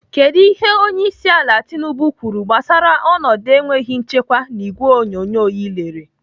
Kedụ ihe onyeisiala Tinubu kwuru gbasara ọnọdụ enweghị nchekwa n'ìgwè onyonyo ị lere?